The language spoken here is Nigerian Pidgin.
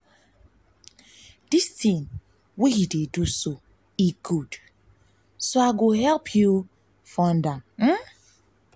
dis thing wey you dey do good so i go help you fund help you fund am